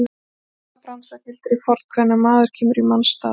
Í okkar bransa gildir hið fornkveðna: Maður kemur í manns stað.